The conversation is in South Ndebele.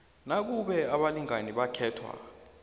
nakube abalingani bakhetha